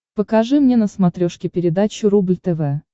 покажи мне на смотрешке передачу рубль тв